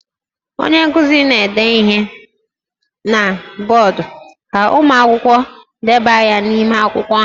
Onye nkuzi na-ede ihe na bọọdụ ka ụmụ akwụkwọ debaga n'ime akwụkwọ ha